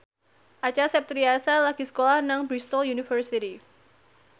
Acha Septriasa lagi sekolah nang Bristol university